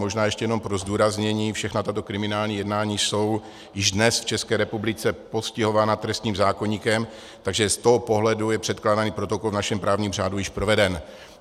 Možná ještě jenom pro zdůraznění - všechna tato kriminální jednání jsou již dnes v České republice postihována trestním zákoníkem, takže z toho pohledu je předkládaný protokol v našem právním řádu již proveden.